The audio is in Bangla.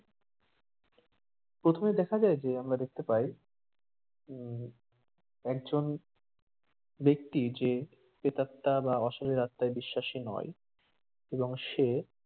প্রথমে দেখা যায় যে আমরা দেখতে পাই উম একজন ব্যাক্তি যে প্রেতাত্মা বা অশরিরি আত্মায় বিশ্বাসী নয় এবং সে